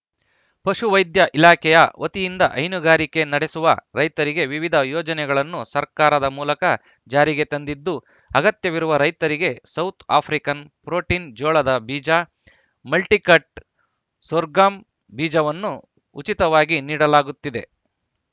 ಪಶು ವೈದ್ಯ ಇಲಾಖೆಯ ವತಿಯಿಂದ ಹೈನುಗಾರಿಕೆ ನಡೆಸುವ ರೈತರಿಗೆ ವಿವಿಧ ಯೋಜನೆಗಳನ್ನು ಸರ್ಕಾರದ ಮೂಲಕ ಜಾರಿಗೆ ತಂದಿದ್ದು ಅಗತ್ಯವಿರುವ ರೈತರಿಗೆ ಸೌತ್‌ ಆಫ್ರಿಕನ್‌ ಪ್ರೋಟೀನ್‌ ಜೋಳದ ಬೀಜ ಮಲ್ಟಿಕಟ್‌ ಸೋರ್ಗಮ್‌ ಬೀಜವನ್ನು ಉಚಿತವಾಗಿ ನೀಡಲಾಗುತ್ತಿದೆ